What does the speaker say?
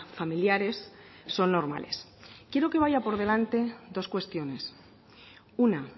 familiares son normales quiero que vaya por delante dos cuestiones una